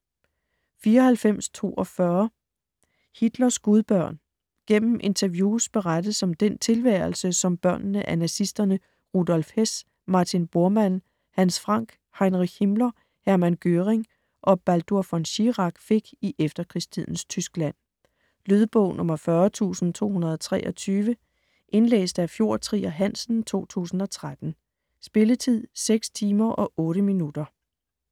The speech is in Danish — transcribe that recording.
94.42 Hitlers gudbørn Gennem interviews berettes om den tilværelse, som børnene af nazisterne Rudolf Hess, Martin Bormann, Hans Frank, Heinrich Himmler, Hermann Göring og Baldur von Schirach fik i efterkrigstidens Tyskland. Lydbog 40223 Indlæst af Fjord Trier Hansen, 2013. Spilletid: 6 timer, 8 minutter.